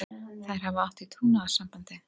Þær hafa átt í trúnaðarsambandi.